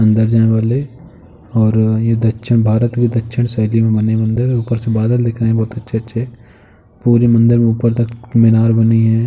अंदर जाने वाली और ये दक्षिण भारत में दक्षिण बने मंदिर हैं। ऊपर से बादल दिख रहे हैं बहोत अच्छे-अच्छे। पूरे मंदिर में ऊपर तक मीनार बनी हैं।